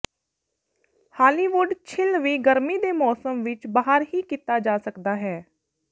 Hollywood ਛਿੱਲ ਵੀ ਗਰਮੀ ਦੇ ਮੌਸਮ ਵਿੱਚ ਬਾਹਰ ਹੀ ਕੀਤਾ ਜਾ ਸਕਦਾ ਹੈ